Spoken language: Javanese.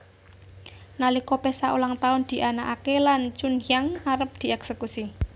Nalika pesta ulang tahun dianakake lan Chunhyang arep dieksekusi